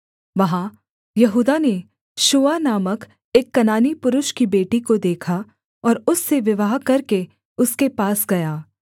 वहाँ यहूदा ने शूआ नामक एक कनानी पुरुष की बेटी को देखा और उससे विवाह करके उसके पास गया